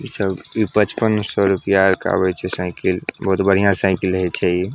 इ सब इ बचपन में सौ रुपया के आवे छै साइकिल बहुत बढ़िया साइकिल हइ छै इ --